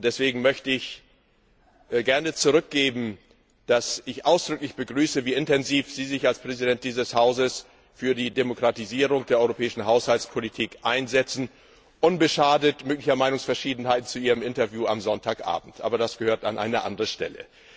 Ich möchte gern zurückgeben, dass ich ausdrücklich begrüße, wie intensiv Sie sich als Präsident dieses Hauses für die Demokratisierung der europäischen Haushaltspolitik einsetzen, unbeschadet möglicher Meinungsverschiedenheiten zu Ihrem Interview am Sonntagabend. Aber das gehört an eine andere Stelle.